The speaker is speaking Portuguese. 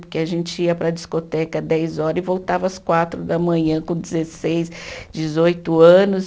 Porque a gente ia para a discoteca dez hora e voltava às quatro da manhã com dezesseis, dezoito anos.